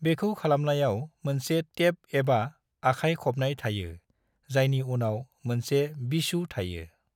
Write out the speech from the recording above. बेखौ खालामनायाव मोनसे टेप एबा आखाइ खबनाय थायो, जायनि उनाव मोनसे वीचू थायो।